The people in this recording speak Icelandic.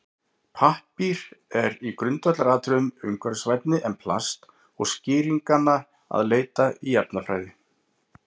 Pappír er í grundvallaratriðum umhverfisvænni en plast og er skýringanna að leita í efnafræði.